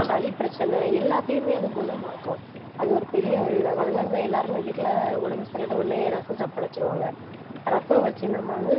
சளி பிரச்சனை, எல்லாத்தையுமே அது குணமாக்கும் அது ஒரு பெரிய ஒரு இதாகும். அதனாலதான் எல்லாருமே வீட்டுல உடம்பு சரியில்லைன்னா உடனே ரசம் சாப்பாடு வைச்சிருவாங்க. ரசம் வச்சு, நம்ம வந்து